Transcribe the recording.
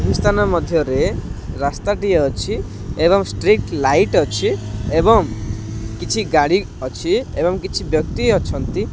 ଭୂ ସ୍ଥାନ ମଧ୍ୟ ରେ ରାସ୍ତା ଟିଏ ଅଛି ଏବଂ ଷ୍ଟ୍ରିଟ ଲାଇଟ୍ ଅଛି ଏବଂ କିଛି ଗାଡି ଅଛି ଏବଂ କିଛି ବ୍ୟକ୍ତି ଅଛନ୍ତି।